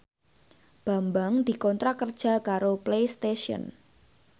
Bambang dikontrak kerja karo Playstation